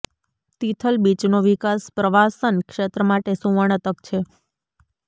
તિથલ બીચનો વિકાસ પ્રવાસન ક્ષેત્ર માટે સુવર્ણ તક છે